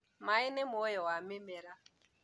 maĩ nĩ muoyo wa mĩmera